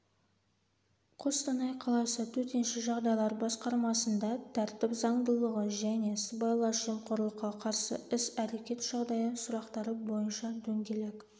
қостанай қаласы төтенше жағдайлар басқармасында тәртіп заңдылығы және сыбайлас жемқорлыққа қарсы іс-әрекет жағдайы сұрақтары бойынша дөңгелек